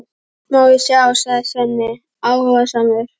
Má ég sjá, sagði Svenni áhugasamur.